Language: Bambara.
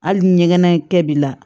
Hali ni ɲɛgɛnɛ in kɛ b'i la